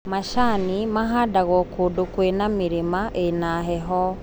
Macani mahandagwo kũndũ kwĩma mĩrĩma ĩna heho.